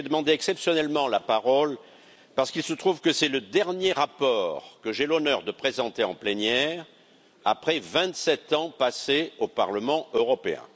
J'ai demandé, exceptionnellement, la parole parce qu'il se trouve que c'est le dernier rapport que j'ai l'honneur de présenter en plénière après vingt sept ans passés au Parlement européen.